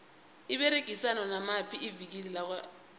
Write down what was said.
liberegisana namaphi ivikile lakwa legit